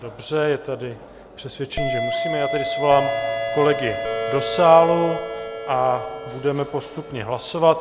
Dobře, je tady přesvědčení, že musíme, já tedy svolám kolegy do sálu a budeme postupně hlasovat.